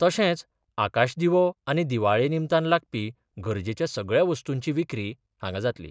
तशेंच आकाशदिवो आनी दिवाळे निमतान लागपी गरजेच्या सगळ्या वस्तूंची विक्री हांगा जातली.